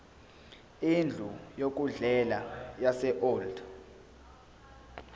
indlu yokudlela yaseold